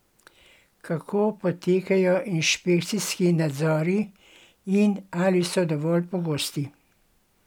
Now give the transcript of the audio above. Kako potekajo inšpekcijski nadzori in ali so dovolj pogosti?